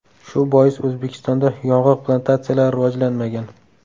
Shu bois O‘zbekistonda yong‘oq plantatsiyalari rivojlanmagan.